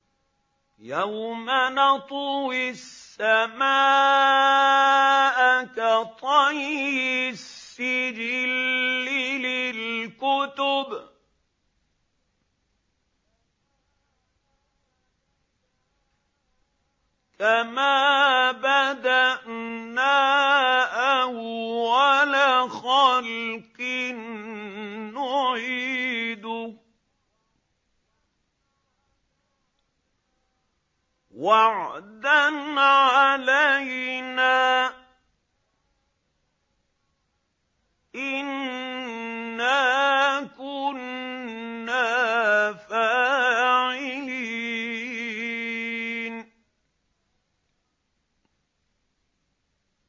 يَوْمَ نَطْوِي السَّمَاءَ كَطَيِّ السِّجِلِّ لِلْكُتُبِ ۚ كَمَا بَدَأْنَا أَوَّلَ خَلْقٍ نُّعِيدُهُ ۚ وَعْدًا عَلَيْنَا ۚ إِنَّا كُنَّا فَاعِلِينَ